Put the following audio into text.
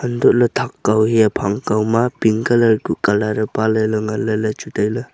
antoley thak kao hia phang kao ma pink colour ku colour ee paale ley nganley ley chu tailey.